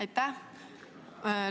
Aitäh!